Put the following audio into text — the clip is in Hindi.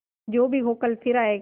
जो भी हो कल फिर आएगा